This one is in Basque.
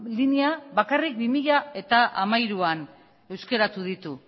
linea bakarrik bi mila hamairuan euskeratu ditu